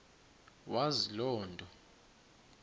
wazi loo nto